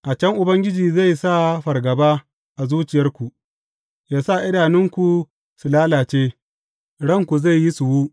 A can Ubangiji zai sa fargaba a zuciyarku, yă sa idanunku su lalace, ranku zai yi suwu.